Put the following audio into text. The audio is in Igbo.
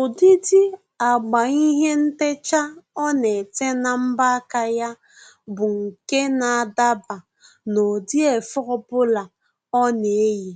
Ụdịdị agba ihe ntecha ọ na-ete na mbọ aka ya bụ nke na-adaba n'ụdị efe ọbụla ọ na-eyi.